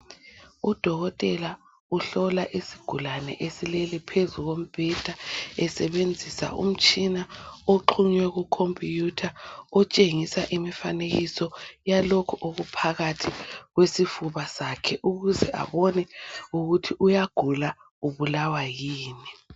Udokotela uhlola isigulane esilele phezu kombheda esebenzisa umtshina oxhunywe ku"computer" otshengisa imifanekiso yalokhu okuphakathi kwesifuba sakhe ukuze abone ukuthi uyagula ubulawa yini.